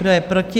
Kdo je proti?